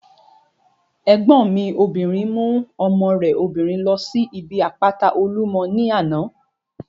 Ẹ̀gbọ́n mi obìnrin mú ọmọ rẹ̀ obìnrin ló síbi àpáta Olúmọ ní àná